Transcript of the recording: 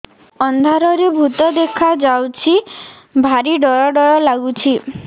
ଅନ୍ଧାରରେ ଭୂତ ଦେଖା ଯାଉଛି ଭାରି ଡର ଡର ଲଗୁଛି